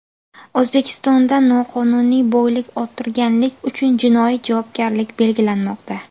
O‘zbekistonda noqonuniy boylik orttirganlik uchun jinoiy javobgarlik belgilanmoqda.